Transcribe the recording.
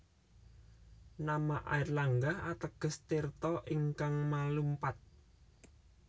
Nama Airlangga ateges tirta ingkang malumpat